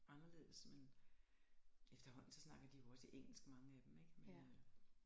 Anderledes men efterhånden så snakker de jo også engelsk mange af dem ikke men øh